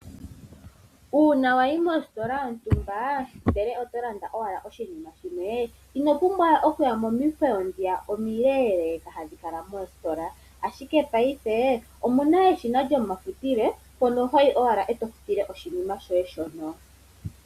Uuna wa yi mositola yontumba ndele oto landa owala oshinima shimwe, ino pumbwa we oku ya momikweyo ndhiya omileleeka hadhi kala moositola, ashike paife omuna eshina lyomafutilo mpono hoyi owala eto futile oshinima shoye shono.